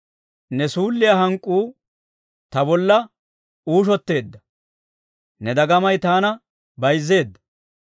Ne suulliyaa hank'k'uu ta bolla uushoteedda; ne dagamay taana bayzzeedda.